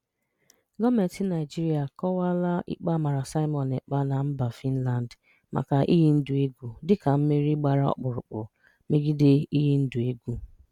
Gọọmenti Naịjirịa akọwaala ikpe a mara Simon Ekpa na mba Fịnland maka iyi ndụ egwu dịka "mmeri gbara ọkpụrụkpụ" megide iyi ndụ egwu.